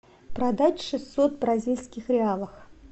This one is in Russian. продать шестьсот бразильских реалов